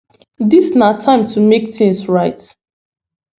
dis na time to make tins right